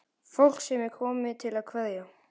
Fólk sem er komið til að kveðja.